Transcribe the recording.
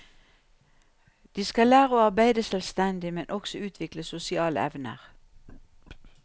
De skal lære å arbeide selvstendig, men også utvikle sosiale evner.